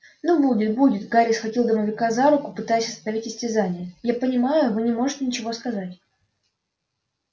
ну будет будет гарри схватил домовика за руку пытаясь остановить истязание я понимаю вы не можете ничего сказать